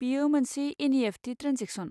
बेयो मोनसे NEFT. Transaction.